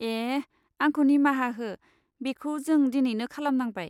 ए, आंखौ निमाहा हो बेखौ जों दिनैनो खालामनांबाय।